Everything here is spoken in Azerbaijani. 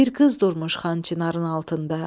Bir qız durmuş Xan Çinarın altında.